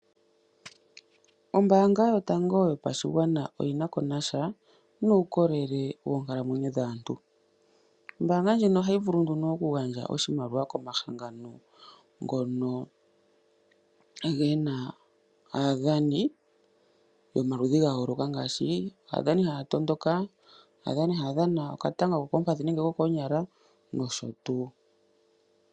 Ombaanga yotango yopashigwana oyi nako nasha nuukolele woonkalamwenyo dhaantu. Ombaanga ndjino ohayi vulu nduno okugandja oshimaliwa komahangano ngono gena aadhani yomaludhi ga yooloka ngaashi aadhani haya tondoka, aadhani haya dhana okatanga kokoompadhi nenge kokoonyala nosho tuu.